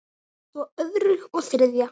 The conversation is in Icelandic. Svo öðru og þriðja.